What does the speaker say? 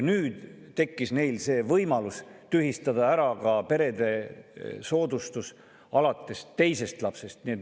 Nüüd tekkis neil võimalus tühistada ära ka perede soodustus alates teisest lapsest.